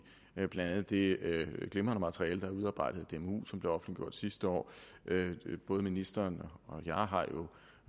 blandt andet det glimrende materiale der er udarbejdet af dmu og som blev offentliggjort sidste år både ministeren